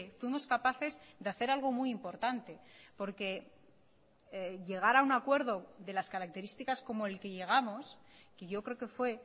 fuimos capaces de hacer algo muy importante porque llegar a un acuerdo de las características como el que llegamos que yo creo que fue